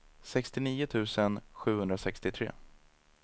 sextionio tusen sjuhundrasextiotre